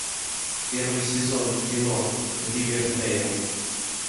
первый сезон кино ривердейл